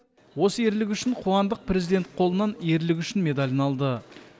осы ерлігі үшін қуандық президент қолынан ерлігі үшін медалін алды